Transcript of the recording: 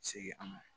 Segin an ma